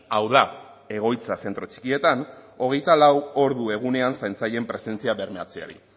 hau da egoitza zentro txikietan hogeita lau ordu egunean zaintzaileen presentzia bermatzeari